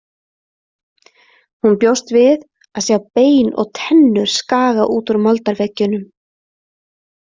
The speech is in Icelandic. Hún bjóst við að sjá bein og tennur skaga út úr moldarveggjunum.